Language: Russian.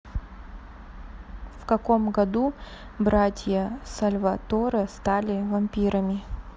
в каком году братья сальваторе стали вампирами